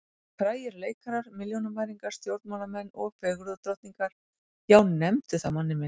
Frægir leikarar, milljónamæringar, stjórnmálamenn og fegurðardrottningar, já, nefndu það manni minn.